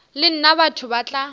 le nna batho ba tla